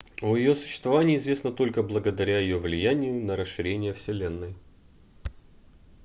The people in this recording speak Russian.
о ее существовании известно только благодаря ее влиянию на расширение вселенной